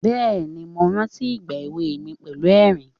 Ehn, mò ń rántí ìgbà ewé mi, pẹ̀lú ẹ̀rín.